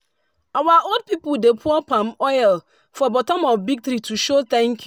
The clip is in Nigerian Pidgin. our old people dey pour palm oil for bottom of big tree to show thank you.